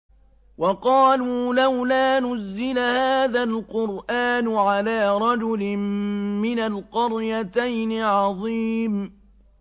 وَقَالُوا لَوْلَا نُزِّلَ هَٰذَا الْقُرْآنُ عَلَىٰ رَجُلٍ مِّنَ الْقَرْيَتَيْنِ عَظِيمٍ